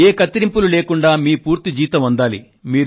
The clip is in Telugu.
ఏ కత్తిరింపులు లేకుండా మీ పూర్తి జీతం మీకు అందాలి